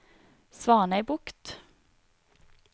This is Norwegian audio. Svanøybukt